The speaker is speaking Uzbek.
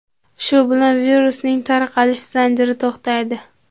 Shu bilan virusning tarqalish zanjiri to‘xtaydi.